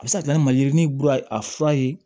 A bɛ se ka kɛ na ma yirinin kura a fura ye